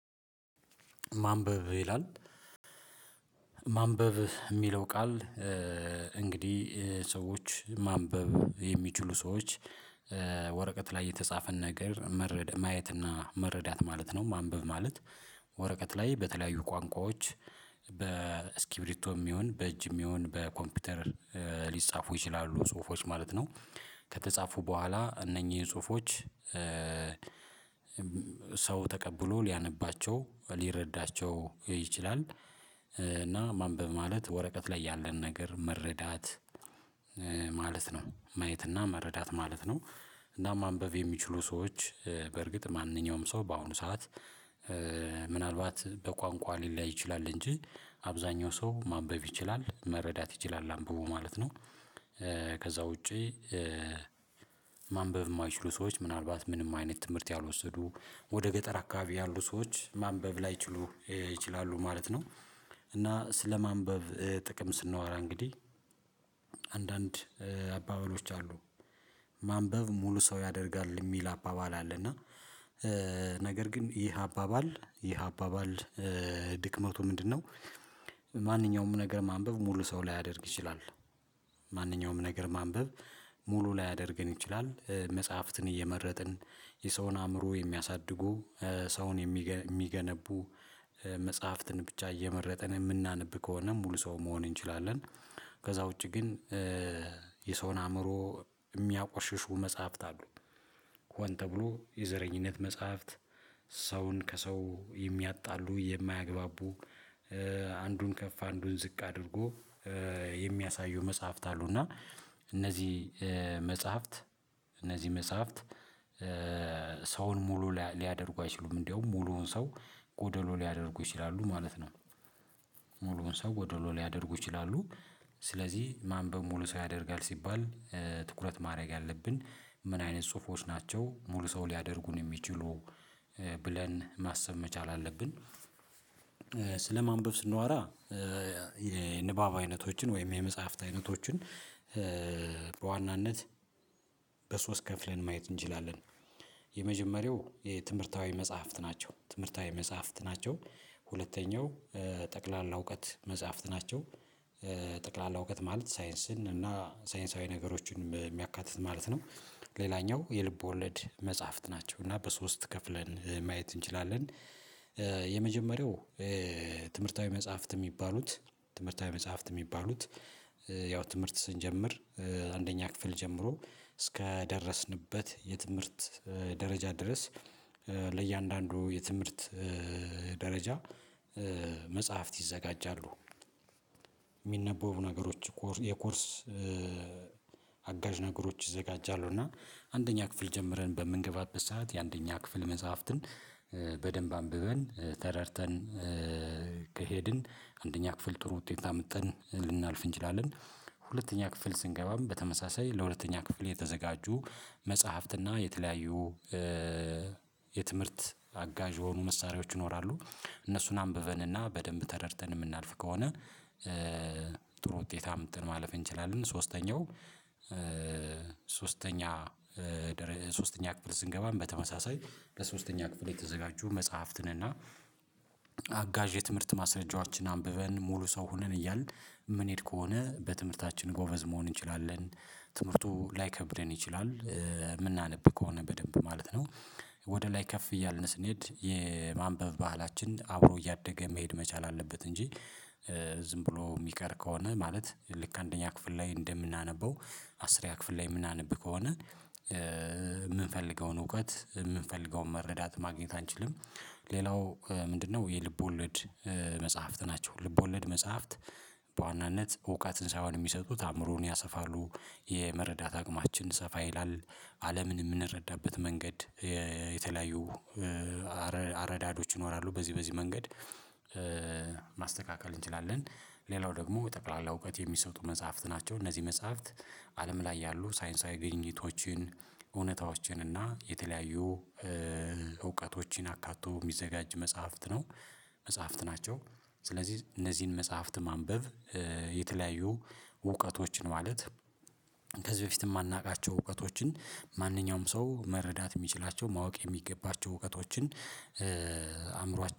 ማንበብ ይላል ማንበብ የሚለው ቃል እንግዲህ ሰዎች ማንበብ የሚችሉ ሰዎች ወረቀት ላይ የተጻፈን ነገር መረድ ማየትና እና መረዳት ማለት ነው። ማንበብ ማለት ወረቀት ላይ በተለያዩ ቋንቋዎች በስኪብሪቶም ይሁን በእጅም ይሁን በኮምፒውተር ሊጻፉ ይችላሉ ጽሁፎች ማለት ነው ከተጻፉ በኋላ እነኚህ ጽሁፎች ሰው ተቀብሎ ሊያነባቸው፣ ሊረዳቸው ይችላል እና ማንበብ ማለት ወረቀት ላይ ያለን ነገር መረዳት ማለት ነው ማየትና መረዳት ማለት ነው፤ እና ማንበብ የሚችሉ ሰዎች በርግጥ ማንኛውም ሰው በአሁኑ ሰዓት ምናልባት በቋንቋ ሊለያይ ይችላል እንጂ አብዛኛው ሰው ማንበብ ይችላል፣ መረዳት ይችላል አንብቦ ማለት ነው። ከዛ ውጪ ማንበብ የማይችሉ ሰዎች ምናልባት ምንም አይነት ትምህርት ያልወሰዱ ወደ ገጠር አካባቢ ያሉ ሰዎች ማንበብ ላይችሉ ይችላሉ ማለት ነው። እና ስለማንበብ ጥቅም ስናወራ እንግዲህ አንዳንድ አባባሎች አሉ ማንበብ ሙሉ ሰው ያደርጋል የሚል አባባል አለ እና ነገር ግን ይህ አባባል ይህ አባባል ድክመቱ ምንድነው ማንኛውም ነገር ማንበብ ሙሉ ሰው ላያደርግ ይችላል፣ ማንኛውም ነገር ማንበብ ሙሉ ላያደርገን ይችላል መጽሐፍትን እየመረጥን፣ የሰውን አእምሮ የሚያሳድጉ ሰውን የሚገነቡ መጽሐፍትን ብቻ እየመረጥን የምናነብ ከሆነ ሙሉ ሰው መሆን እንችላለን። ከዛ ውጪ ግን የሰውን አእምሮ የሚያቆሽሹ መጽሐፍት አሉ፣ ተብሎ ተብሎ የዘረኝነት መጽሐፍት፣ ሰውን ከሰው የሚያጣሉ የማያግባቡ፣ አንዱን ከፍ አንዱን ዝቅ አድርጎ የሚያሳዩ መጽሐፍት አሉና እነዚህ መጽሐፍት እነዚህ መጽሐፍት ሰውን ሙሉ ሊያደርጉ አይችሉም እንደውም ሙሉውን ሰው ጎደሎ ሊያደርጉ ይችላሉ ማለት ነው። ሙሉውን ሰው ጎዶሎ ሊያደርጉ ይችላሉ፣ ስለዚህ ማንበብ ሙሉ ሰው ያደርጋል ሲባል ትኩረት ማድረግ ያለብን ምን አይነት ጽሁፎች ናቸው ሙሉ ሰው ሊያደርጉን የሚችሉ ብለን ማሰብ መቻል አለብን። ስለማንበብ ስናወራ የንባብ አይነቶችን ወይም የመጽሐፍት አይነቶችን በዋናነት በሶስት ከፍለን ማየት እንችላለን። የመጀመሪያው የትምህርታዊ መጽሐፍት ናቸው ትምህርታዊ መጽሐፍት ናቸው፣ ሁለተኛው ጠቅላላ እውቀት መጽሐፍት ናቸው፣ ጠቅላላ እውቀት ማለት ሳይንስን እና ሳይንሳዊ ነገሮችን የሚያካትት ማለት ነው። ሌላኛው የልብ ወለድ መጽሐፍት ናቸው እና በሶስት ከፍለን ማየት እንችላለን። የመጀመሪያው ትምህርታዊ መጽሐፍት የሚባሉት ትምህርታዊ መጽሐፍት የሚባሉት ያው ትምህርት ስንጀምር አንደኛ ክፍል ጀምሮ እስከ ደረስንበት የትምህርት ደረጃ ድረስ ለእያንዳንዱ የትምህርት ደረጃ መጽሐፍት ይዘጋጃሉ፣ የሚነበቡ ነገሮች የኮርስ አጋዥ ነገሮች ይዘጋጃሉ እና አንደኛ ክፍል ጀምረን በምንገባበት ሰዓት የአንደኛ ክፍል መጽሐፍትን በደንብ አንብበን፣ ተረድተን ከሄድን አንደኛ ክፍል ጥሩ ውጤት አምጥተን ልናልፍ እንችላለን፣ ሁለተኛ ክፍል ስንገባም በተመሳሳይ ለሁለተኛ ክፍል የተዘጋጁ መጽሐፍትና የተለያዩ የትምህርት አጋዥ የሆኑ መሳሪያዎች ይኖራሉ እነሱን አንብበንና በደንብ ተረድተን የምናልፍ ከሆነ ጥሩ ውጤት አምጥተን ማለፍ እንችላለን። ሶስተኛው ሶስተኛ ሶስተኛ ክፍል ስንገባ በተመሳሳይ በሶስተኛ ክፍል የተዘጋጁ መጽሐፍትን እና አጋዥ የትምህርት ማስረጃዎችን አንብበን ሙሉ ሰው ሆነን እያልን የምንሄድ ከሆነ በትምህርታችን ጎበዝ መሆን እንችላለን። ትምህርቱ ላይከብደን ይችላል የምናነብ ከሆነ በደንብ ማለት ነው ወደ ላይ ከፍ እያልን ስንሄድ የማንበብ ባህላችን አብሮ እያደገ መሄድ መቻል አለበት እንጂ ዝም ብሎ የሚቀር ከሆነ ማለት ልክ አንደኛ ክፍል ላይ እንደምናነበው አስርኛ ክፍል ላይ የምናነብ ከሆነ የምንፈልገውን እውቀት፣ የምንፈልገውን መረዳት ማግኘት አንችልም ሌላው ምንድነው የልብ ወለድ መጽሐፍት ናቸው። ልብ ወለድ መጽሐፍት በዋናነት እውቀትን ሳይሆን የሚሰጡት አእምሮን ያሰፋሉ፣ የመረዳት አቅማችን ሰፋ ይላል፣ አለምን የምንረዳበት መንገድ የተለያዩ አረዳዶች ይኖራሉ በዚህ በዚህ መንገድ ማስተካከል እንችላለን። ሌላው ደግሞ የጠቅላላ እውቀት የሚሰጡ መጽሐፍት ናቸው እነዚህ መጽሐፍት አለም ላይ ያሉ ሳይንሳዊ ግኝቶችን፣ እውነታዎችን እና የተለያዩ እውቀቶችን አካቶ የሚዘጋጅ መጽሐፍት ነው መጽሐፍት ናቸው። ስለዚህ እነዚህን መጽሐፍት ማንበብ የተለያዩ እውቀቶችን ማለት ከዚህ በፊት የማናውቃቸው እውቀቶችን ማንኛውም ሰው መረዳት የሚችላቸው ማወቅ የሚገባቸው እውቀቶችን አእምሯችን